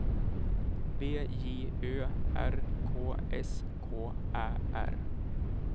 B J Ö R K S K Ä R